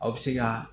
Aw bɛ se ka